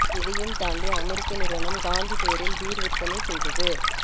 இதையும் தாண்டி அமெரிக்க நிறுவனம் காந்தி பெயரில் பீர் விற்பனை செய்தது